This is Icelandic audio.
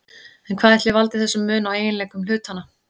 En hvað ætli valdi þessum mun á eiginleikum hlutanna?